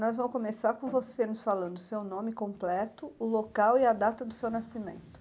Nós vamos começar com você nos falando seu nome completo, o local e a data do seu nascimento.